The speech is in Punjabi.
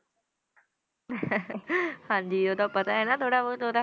ਹਾਂਜੀ ਉਹਦਾ ਪਤਾ ਹੈ ਨਾ ਥੋੜ੍ਹਾ ਬਹੁਤ ਉਹਦਾ।